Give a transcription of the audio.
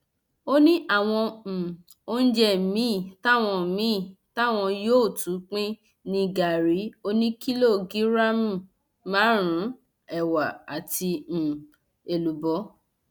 ó ní àwọn um oúnjẹ míín táwọn míín táwọn yóò tún pín ní gàárì oníkìlógíráàmù márùnún ẹwà àti um èlùbọ